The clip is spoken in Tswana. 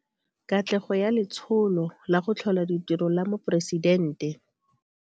Katlego ya Letsholo la go Tlhola Ditiro la Moporesidente.